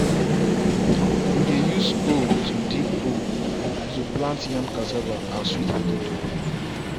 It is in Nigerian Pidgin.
we dey use hoe to dig hole to plant yam cassava and sweet potato.